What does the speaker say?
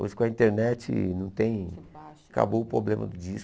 Hoje com a internet não tem... Acabou o problema do disco.